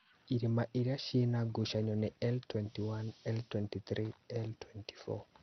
ithima iria ciĩ na ngucanio nĩ L-21, L-23, L-24